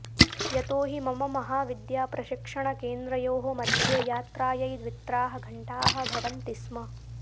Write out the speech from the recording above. यतो हि मम महाविद्याप्रशिक्षणकेन्द्रयोः मध्ये यात्रायै द्वित्राः घण्टाः भवन्ति स्म